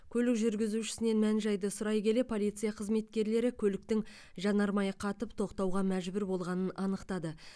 көлік жүргізушісінен мән жайды сұрай келе полиция қызметкерлері көліктің жанармайы қатып тоқтауға мәжбүр болғанын анықтады